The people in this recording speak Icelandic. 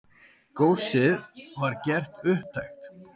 Góssið var gert upptækt.